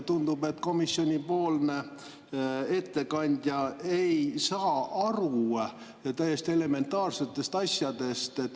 Tundub, et komisjoni ettekandja ei saa aru täiesti elementaarsetest asjadest.